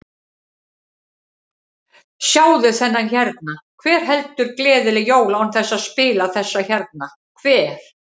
Sjáðu þennan hérna, hver heldur gleðileg jól án þess að spila þessa hérna, hver?